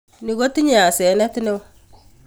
Ni kotinyei asenet neo